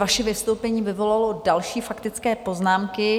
Vaše vystoupení vyvolalo další faktické poznámky.